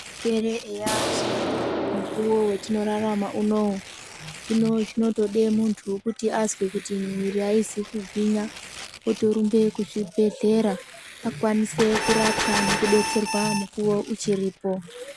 Zvirwere eya zviriyo mukuwo wetinorarama uno, hino zvinotoda mundu wekuti azwe kuti miiri aizi kugwinya otorumba kuzvibhedhlera akwanise kurapwa nekudetserwa mukuwo uchiripo.